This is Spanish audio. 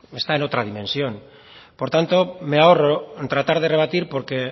está en otra dimensión por tanto me ahorro en tratar de rebatir porque